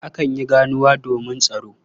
Akan yi ganuwa domin tsaro.